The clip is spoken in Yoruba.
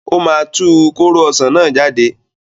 Ó máa tu kóró ọsàn náà jáde.